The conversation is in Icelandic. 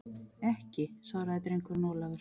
Ekki, svaraði drengurinn Ólafur.